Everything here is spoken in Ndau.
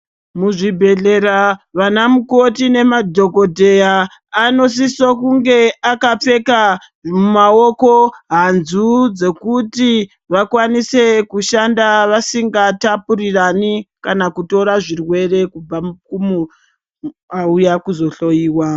Muzvibhedhlera vana mukoti nemadhokoteya anosise kunge akapfeka mumaoko hanzu dzekuti vasingakwanisi kutapurirana kana kutora zvirwere kumunhu auya kuzohloyiwa.